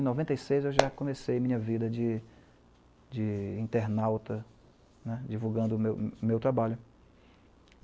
em noventa e seis, eu já comecei minha vida de de internauta né, divulgando o meu meu trabalho.